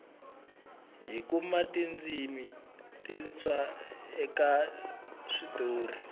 hi kuma tindzimi tintshwa eka switori